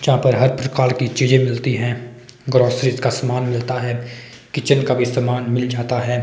यहां पर हर प्रकार की चीजें मिलती हैं ग्रोसरीज का समान मिलता है किचेन का भी सामान मिल जाता है।